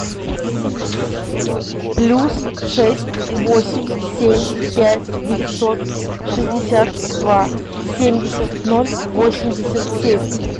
плюс шесть восемь семь пять девятьсот шестьдесят два семьдесят ноль восемьдесят семь